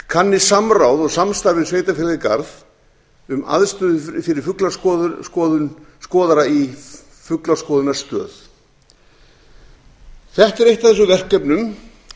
kanni samráð og samstarf við sveitarfélagið garð um aðstöðu fyrir fuglaskoðara í fuglaskoðunarstöð þetta er eitt af þessum verkefnum